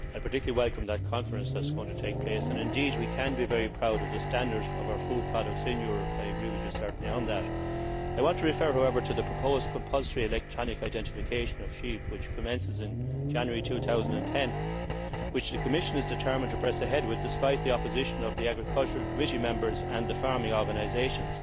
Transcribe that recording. I particularly welcome the Conference that is going to take place and indeed we can be very proud of the standard of our food products in Europe I certainly agree with you on that. I want to refer, however, to the proposed compulsory electronic identification of sheep, which commences in January 2010, and which the Commission is determined to press ahead with despite the opposition of the Agricultural Committee members and the farming organisations.